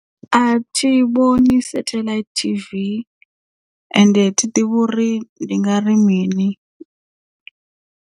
A thi vhoni satheḽaithi TV ende thi ḓivhi uri ndi nga ri mini.